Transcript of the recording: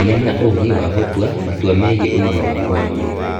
Gĩa na ũũgĩ wa gũtua matua megiĩ ũgima waku wa mwĩrĩ.